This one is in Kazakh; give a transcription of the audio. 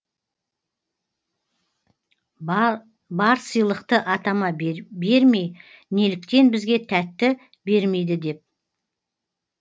бар сыйлықты атама бере бермей неліктен бізге тәтті бермейді деп